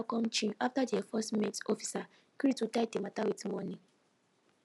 de driver come chill after de enforcement officer gree to die de mata with monie